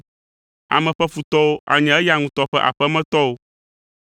Ame ƒe futɔwo anye eya ŋutɔ ƒe aƒemetɔwo.’